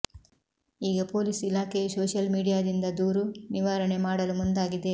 ಈಗ ಪೊಲೀಸ್ ಇಲಾಖೆಯೂ ಸೋಶಿಯಲ್ ಮೀಡಿಯಾದಿಂದ ದೂರು ನಿವಾರಣೆ ಮಾಡಲು ಮುಂದಾಗಿದೆ